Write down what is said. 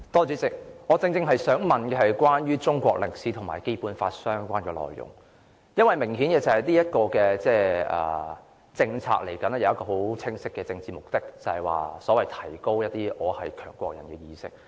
主席，我正想問關於中國歷史科及《基本法》相關的內容，明顯的是，這項政策有一個很清晰的政治目的，就是提高一些"我是強國人"的意識。